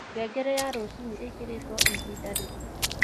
ngengere ya rũcĩũĩkĩrĩtwoĩhĩnda rĩrĩkũ